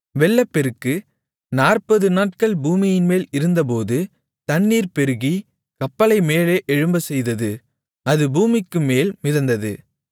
வெள்ளப்பெருக்கு 40 நாட்கள் பூமியின்மேல் இருந்தபோது தண்ணீர் பெருகி கப்பலை மேலே எழும்பச் செய்தது அது பூமிக்குமேல் மிதந்தது